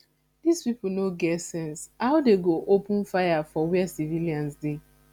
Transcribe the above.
dis people no get sense how dey go open fire for where civilians dey